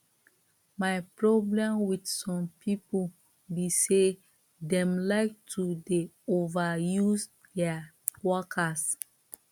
my problem with some people be say dem like to dey overuse dia workers